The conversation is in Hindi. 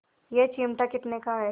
यह चिमटा कितने का है